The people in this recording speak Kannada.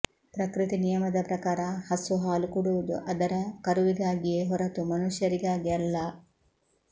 ಪ್ರಕೃತಿ ನಿಯಮದ ಪ್ರಕಾರ ಹಸು ಹಾಲು ಕೊಡುವುದು ಅದರ ಕರುವಿಗಾಗಿಯೇ ಹೊರತು ಮನುಷ್ಯರಿಗಾಗಿ ಅಲ್ಲ